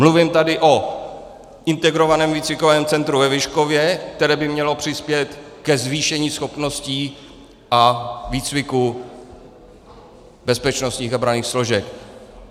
Mluvím tady o Integrovaném výcvikovém centru ve Vyškově, které by mělo přispět ke zvýšení schopností a výcviku bezpečnostních a branných složek.